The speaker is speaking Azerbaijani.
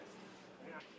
Gəl bəri.